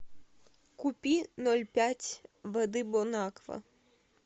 купи ноль пять воды бонаква